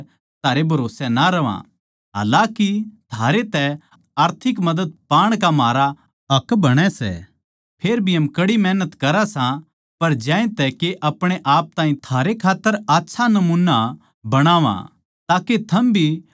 हालाकि थारे तै आर्थिक मदद पाण का म्हारा हक बणै सै फेर भी हम कड़ी मेहनत करा सां पर ज्यांतै के अपणे आप ताहीं थारै खात्तर आच्छा नमूना बणावां ताके थम भी म्हारै जिसा जीवन जिओ